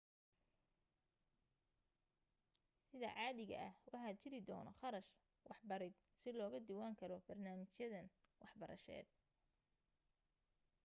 sida caadiga ah waxaa jiri doono kharash waxbarid si loga diiwan galo barnaamijyadan waxbarashadeed